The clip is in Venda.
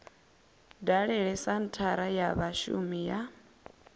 dalele senthara ya vhashumi ya